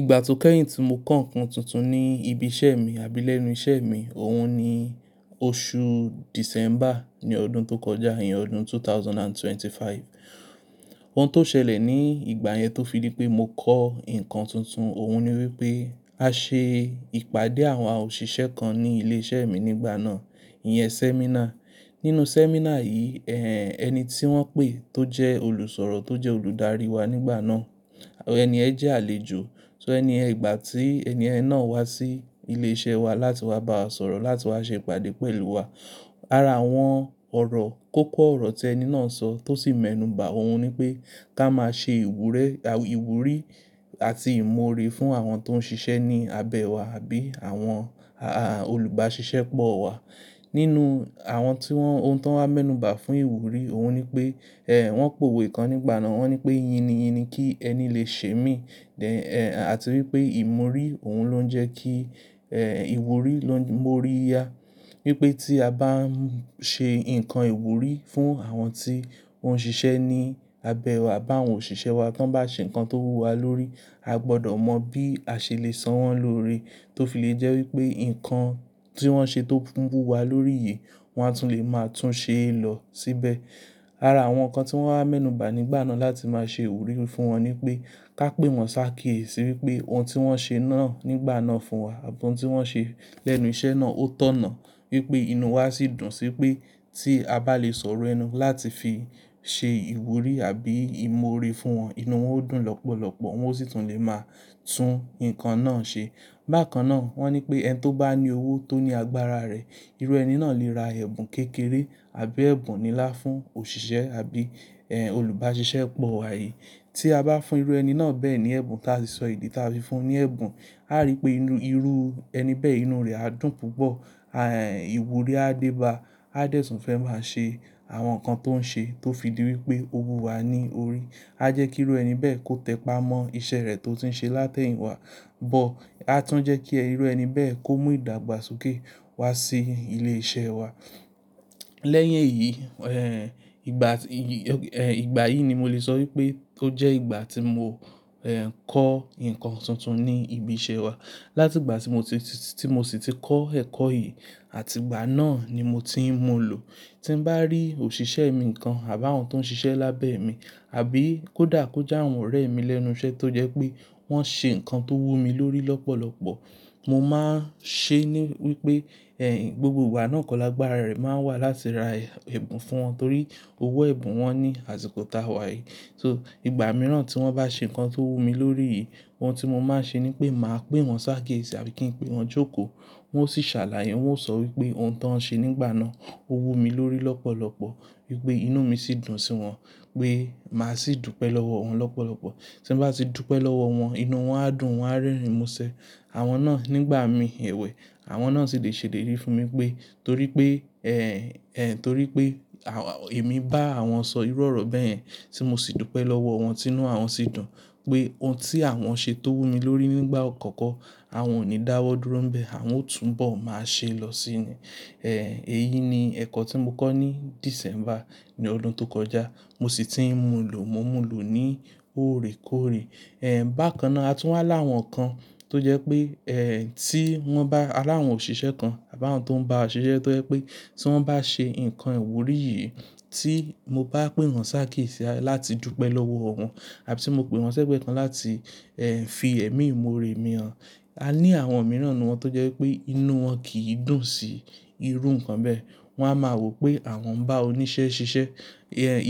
Ìgbà tó kẹ́yìn tí mo kọ ǹkan tuntun ní ibi iṣẹ́ mi àbí lẹ́nu iṣẹ́ mi, òun ni oṣù December ní ọdún tó kọjá yẹn, ọdún 2025. Ohun tó ṣẹlẹ̀ ní ìgbà yẹn tó fi ní pé mo kọ ǹkan tuntun, òun ni wípé a ṣe ìpàdé àwọn òṣìṣẹ́ kan ní ilé iṣẹ́ mi nígbà náà, ìyẹn seminar. Nínú seminar yìí, ẹhn, ẹni tí wọ́n pè tó jẹ́ olùsọ̀rọ̀ tó jẹ́ olùdarí wa nígbà náà, ẹni ẹ̀ jẹ́ àlejò. So ẹni ẹ̀, ìgbà tí ẹni ẹ̀ náà wá sí ilé iṣẹ́ wa láti wá bá wa sọ̀rọ̀ láti wá ṣe ìpàdé pẹ̀lú wa. Ara àwọn ọ̀rọ̀, kókó ọ̀rọ̀ tí ẹni náà sọ tó sì mẹ́nuba, òun ni pé ká máa ṣe ìwúre, à, ìwúrí àti ìmọ̀ore fún àwọn tó ń ṣiṣẹ́ ní abẹ́ wa àbí àwọn, aah, olùbáṣiṣẹ́ pọ̀ wa. Nínú àwọn tí wọ́n, ohun tó ń wá mẹ́nuba fún ìwúrí, òun ni pé, eh, wọ́n pòwe kan nígbà náà, wọ́n ní pé ìyìn ni ìyìn ni kí ẹni lè ṣe mí, then, eh, àti wípé ìmọ̀rí òun ló ń jẹ kí, eh, ìwúrí ló ń mórí ya. Wípé tí a bá ń ṣe ǹkan ìwúrí fún àwọn tí ó ń ṣiṣẹ́ ní abẹ́ wa bá àwọn òṣìṣẹ́ wa tí wọ́n bá ṣe ǹkan tó wú wa lórí, a gbọdọ̀ mọ̀ bí a ṣe lè sọ wọ́n lóore tó fi lè jẹ́ wípé ǹkan tí wọ́n ṣe tó ń wú wa lórí yìí, wọn á tún lè máa tún ṣe é lọ síbẹ̀. Ara àwọn ǹkan tí wọ́n wá mẹ́nuba nígbà náà láti máa ṣe ìwúrí fún wọn ni pé ká pè wọ́n sákíyèsí wípé ohun tí wọ́n ṣe náà nígbà náà fún wa àti ohun tí wọ́n ṣe lẹ́nu iṣẹ́ náà ó tọ̀nà. Wípé inú wa sì dùn sí pé tí a bá lè sọ̀rọ̀ ẹnu láti fi ṣe ìwúrí àbí ìmọ̀ore fún wọn, inú wọn ó dùn lọ́pọ̀lọ́pọ̀, wọn ó sì tún lè máa tún ǹkan náà ṣe. Bákan náà wọ́n ní pé ẹni tó bá ní owó tó ní agbára rẹ̀, irú ẹni náà lè ra ẹ̀bùn kékeré àbí ẹ̀bùn nílá fún òṣìṣẹ́ àbí, eh, olùbáṣiṣẹ́ pọ̀ wa yìí. Tí a bá fún irú ẹni náà bẹ́ẹ̀ ní ẹ̀bùn tí a sì sọ ìdí tí a fi fún un ní ẹ̀bùn, a rí pé inú, irú ẹni bẹ́ẹ̀ inú rẹ̀ á dùn púpọ̀, aah, ìwúrí á déba, á dẹ̀ tún fẹ́ máa ṣe àwọn ǹkan tó ń ṣe tó fi di wípé ó wú wa ní orí. Á jẹ́ kí irú ẹni bẹ́ẹ̀ kó tẹpá mọ́ iṣẹ́ rẹ̀ tó ti ń ṣe látẹ̀yìn wá, bọ́ á tún jẹ́ kí irú ẹni bẹ́ẹ̀ kó mú ìdàgbàsókè wá sí ilé iṣẹ́ wa. Lẹ́yìn èyí, ehn, ìgbà, ìyí, ehn, ìgbà yìí ni mo lè sọ wípé ó jẹ́ ìgbà tí mo, ehn, kọ ǹkan tuntun ní ibi iṣẹ́ wa. Láti ìgbà tí mo ti, tí mo sì ti kọ́ ẹ̀kọ́ yìí àti ìgbà náà ni mo ti ń mú lọ. Tí ń bá rí òṣìṣẹ́ mi nǹkan àbí àwọn tó ń ṣiṣẹ́ lábẹ́ mi àbí kó dà kó jà àwọn ọ̀rẹ́ mi lẹ́nu iṣẹ́ tó jẹ́ pé wọ́n ṣe ǹkan tó wú mi lórí lọ́pọ̀lọ́pọ̀, mo máa ń ṣe ni wípé, ehn, gbogbo ìgbà náà kọ lágbára rẹ̀ máa wà láti ra ẹ̀bùn fún wọn torí owó ẹ̀bùn wọn ní àṣìkò táa wá yìí. So ìgbà mìíràn tí wọ́n bá ṣe ǹkan tó wú mi lórí yìí, ohun tí mo máa ń ṣe ni pé màá pè wọ́n sákíyèsí àbí kí n pè wọ́n jókòó. Wọ́n ó sì ṣàlàyé, wọn ó sọ wípé ohun tí wọn ṣe nígbà náà ó wú mi lórí lọ́pọ̀lọ́pọ̀, wípé inú mi sì dùn sí wọn pé màá sì dúpẹ́ lọ́wọ́ wọn lọ́pọ̀lọ́pọ̀. Tí ń bá ti dúpẹ́ lọ́wọ́ wọn, inú wọn á dùn, wọn á rẹ́rìn ín mo ṣe. Àwọn náà nígbà mi ẹ̀wẹ̀, àwọn náà sì lè ṣèlérí fún mi pé torí pé, ehn, ehn, torí pé èmi bá àwọn sọ irọ̀rọ̀ bẹ́ẹ̀ tí mo sì dúpẹ́ lọ́wọ́ wọn tí inú àwọn sì dùn pé ohun tí àwọn ṣe tó wú mi lórí nígbà àkọ́kọ́, àwọn ò ní dáwọ́ dúró bẹ, àwọn ó tún bọ̀ máa ṣe lọ síni. Ehn, èyí ni ẹ̀kọ́ tí mo kọ́ ní December ní ọdún tó kọjá, mo sì ti ń mú lò, mo ń mú lò ní óòrèkóòrè. Ehn, bákan náà a tún wá láwọn ǹkan tó jẹ́ pé, ehn, tí wọ́n bá aláwọn òṣìṣẹ́ kan àbí àwọn tó ń bá a ṣe iṣẹ́ tó jẹ́ pé tí wọ́n bá ṣe ǹkan ìwúrí yìí tí mo bá pè wọ́n sákíyèsí láti dúpẹ́ lọ́wọ́ wọn àbí tí mo pè wọ́n sẹ́gbẹ̀ẹ́ kan láti, ehn, fi ẹ̀mí ìmọ̀ore mi hàn, a ní àwọn mìíràn nínú wọn tó jẹ́ pé inú wọn kì í dùn sí irú ǹkan bẹ́ẹ̀. Wọn á máa rò pé àwọn ń bá oníṣẹ́ ṣiṣẹ́.